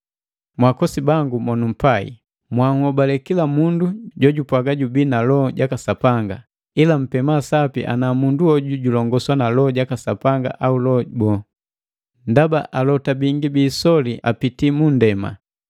Mwaakosi bangu mo numpai, mwaanhobale kila mundu jojupwaga jubii na Loho jaka Sapanga, ila mpema sapi ana mundu hoju julongoswa na Loho jaka Sapanga au loho bo; ndaba alota bingi bi isoli apitii munndema.